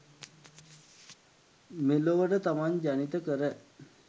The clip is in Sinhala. මෙලොවට තමන් ජනිත කර